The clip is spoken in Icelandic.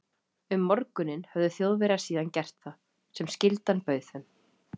Um morguninn höfðu Þjóðverjar síðan gert það, sem skyldan bauð þeim.